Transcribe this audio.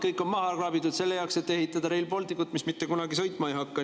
Kõik on maha kraabitud selleks, et ehitada Rail Balticut, mis mitte kunagi sõitma ei hakka.